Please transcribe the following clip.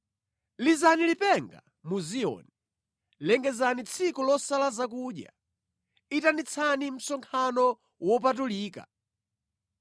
Lizani lipenga mu Ziyoni, lengezani tsiku losala zakudya, itanitsani msonkhano wopatulika.